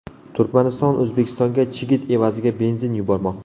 Turkmaniston O‘zbekistonga chigit evaziga benzin yubormoqda.